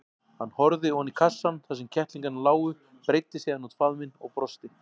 Hann horfði oní kassann þar sem kettlingarnir lágu, breiddi síðan út faðminn og brosti.